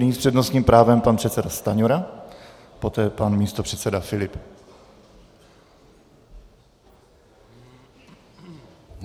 Nyní s přednostním právem pan předseda Stanjura, poté pan místopředseda Filip.